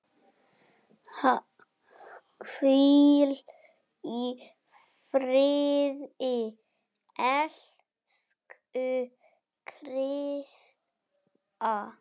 Hvíl í friði, elsku Krissa.